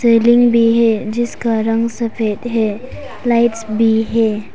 Railing भी है जिसका रंग सफेद है लाइट्स भी है।